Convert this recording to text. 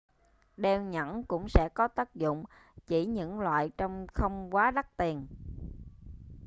đeo nhẫn cũng sẽ có tác dụng chỉ những loại trông không quá đắt tiền